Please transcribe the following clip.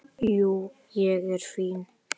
Jú, ég er fínn.